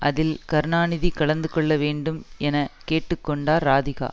அதில் கருணாநிதி கலந்து கொள்ள வேண்டும் என கேட்டு கொண்டார் ராதிகா